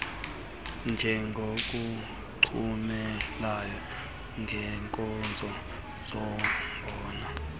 njengokuchubelana ngeenkozo zombona